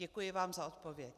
Děkuji vám za odpověď.